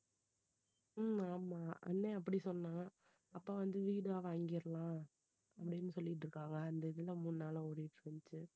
உம் ஆமா அண்ணன் இப்படி சொன்னான் அப்பா வந்து வீடா வாங்கிடலாம் அப்படின்னு சொல்லிட்டு இருக்காங்க அந்த இதுல மூணு நாளா ஓடிட்டு இருந்துச்சு.